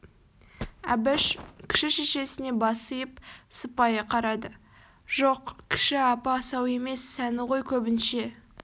әбіш кіші шешесіне бас иіп сыпайы қарады жоқ кіші апа асау емес сәні ғой көбінше